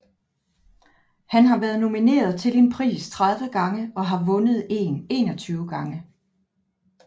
Han har været nomineret til en pris 30 gange og har vundet en 21 gange